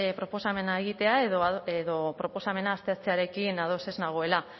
proposamena egitea edo proposamena aztertzearekin ados ez nagoela